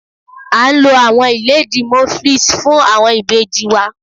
A ń lọ̀ awọn ilẹ̀díí Moflix fún awọn ibèjì wa.